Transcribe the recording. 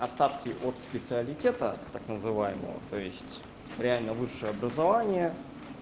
остатки от специалитета так называемого то есть реально высшее образование